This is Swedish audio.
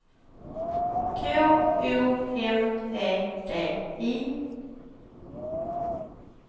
K O M E D I